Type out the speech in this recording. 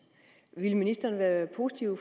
ville ministeren være positiv